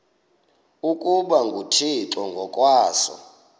ukuba nguthixo ngokwaso